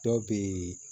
Dɔw bɛ yen